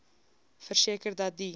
verseker dat die